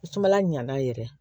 Sumala ɲana yɛrɛ ye